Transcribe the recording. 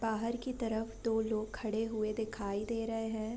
बाहर की तरफ दो लोग खड़े हुए दिखाई दे रहे है।